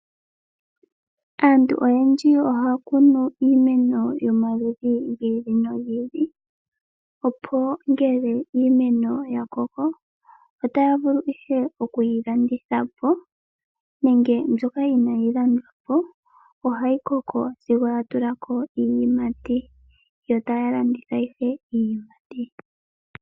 Aantu oyendji ohaya kunu iimeno yomaludhi gi ili nogi ili, opo ngele iimeno yakoko otaya vulu ihe okuyi landithapo nenge mbyoka inayi landwapo ohayi koko sigo yatulako iiyimati yo taya landitha iiyimati.